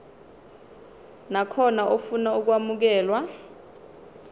nakhona ofuna ukwamukelwa